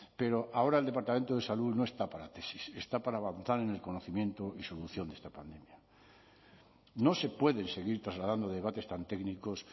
pero ahora el departamento de salud no está para tesis está para avanzar en el conocimiento y solución de esta pandemia no se pueden seguir trasladando debates tan técnicos